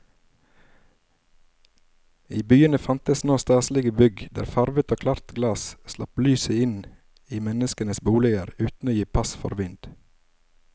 I byene fantes nå staselige bygg der farvet og klart glass slapp lyset inn i menneskenes boliger uten å gi pass for vind.